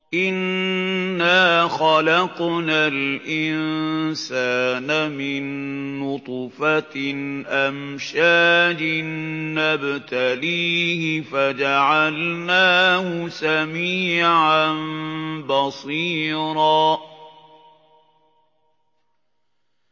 إِنَّا خَلَقْنَا الْإِنسَانَ مِن نُّطْفَةٍ أَمْشَاجٍ نَّبْتَلِيهِ فَجَعَلْنَاهُ سَمِيعًا بَصِيرًا